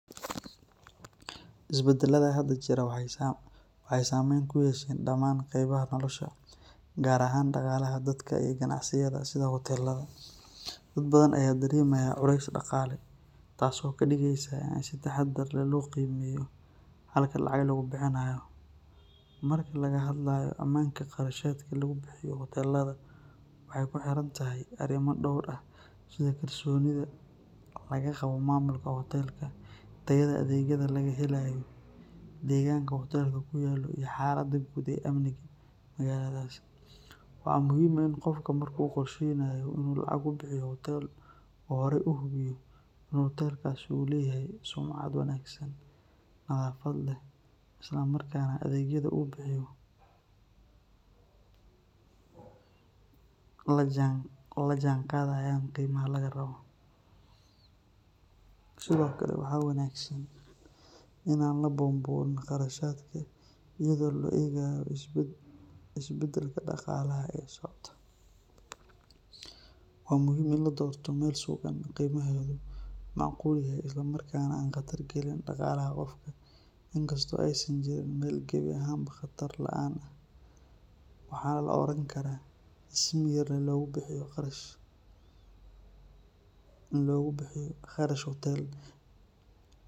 Isbedelada hadda jira waxay saamayn ku yeesheen dhammaan qaybaha nolosha, gaar ahaan dhaqaalaha dadka iyo ganacsiyada sida hoteellada. Dad badan ayaa dareemaya culays dhaqaale, taasoo ka dhigaysa in si taxadar leh loo qiimeeyo halka lacag lagu bixinayo. Marka laga hadlayo ammaanka qarashaadka lagu bixiyo hoteellada, waxay kuxirantahay arrimo dhowr ah sida kalsoonida laga qabo maamulka hoteelka, tayada adeegyada la helayo, deegaanka uu hoteelku ku yaallo, iyo xaaladda guud ee amniga magaaladaas. Waxaa muhiim ah in qofku marka uu qorsheynayo inuu lacag ku bixiyo hoteel uu horay u hubiyo in hoteelkaas uu leeyahay sumcad wanaagsan, nadaafad leh, isla markaana adeegyada uu bixiyo ay la jaanqaadayaan qiimaha laga rabo. Sidoo kale, waxaa wanaagsan in aan la buunbuunin kharashaadka iyadoo loo eegayo isbedelka dhaqaalaha ee socda. Waa muhiim in la doorto meel sugan, qiimaheedu macquul yahay, isla markaana aan khatar galin dhaqaalaha qofka. In kastoo aysan jirin meel gebi ahaanba khatar la’aan ah, waxaa la oran karaa in si miyir leh loogu bixiyo qarash hoteel.